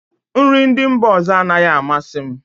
Nri ndị mba ọzọ anaghị amasị m